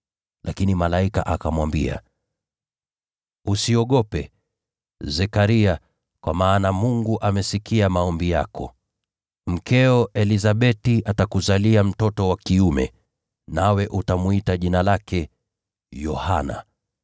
Lakini malaika akamwambia, “Usiogope, Zekaria, kwa maana Mungu amesikia maombi yako. Mkeo Elizabeti atakuzalia mtoto wa kiume, nawe utamwita jina lake Yohana.